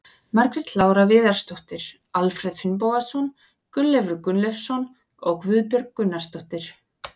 Margrét Lára Viðarsdóttir, Alfreð Finnbogason, Gunnleifur Gunnleifsson og Guðbjörg Gunnarsdóttir.